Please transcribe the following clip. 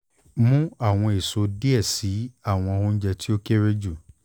mu awọn eso diẹ sii ati awọn ounjẹ ti o kere ju